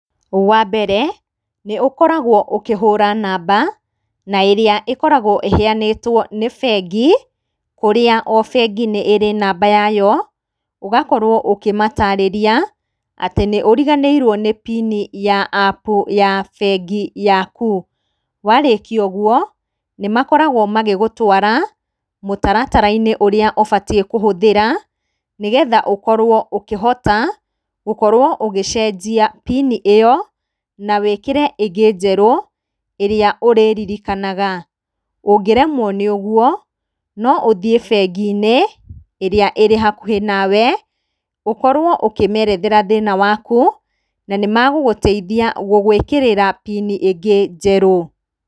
Wambere, nĩũkoragwo ũkĩhũra namba, na ĩrĩa ĩkoragwo ĩheyanĩtwo nĩ bengi, kũrĩa o bengi nĩ ĩrĩ namba yayo, ũgakorwo ũkĩmatarĩria, atĩ nĩ ũriganĩrirwo nĩ PIN ya APP ya bengi yaku. Warĩkia ũguo, nĩmakoragwo magĩgũtwara mũtaratara-inĩ ũrĩa wagĩrĩirwo nĩ kũhũthĩra, nĩgetha ũkorwo ũkĩhota gũkorwo ũgĩcenjia PIN ĩyo, na wĩkĩre ĩngĩ njerũ, ĩrĩa ũrĩririkanaga. Ũngĩremwo nĩ ũguo, no ũthiĩ bengi-inĩ ĩrĩa ĩrĩ hakuhĩ nawe, ũkorwo ũkĩmerethera thĩna waku, na nĩmegũgũteithia gũĩkĩra PIN ĩngĩ njerũ.